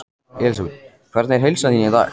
Elísabet: Hvernig er heilsa þín í dag?